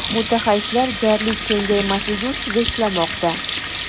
Mutaxassislar jarlik kengaymasligi ustida ishlamoqda.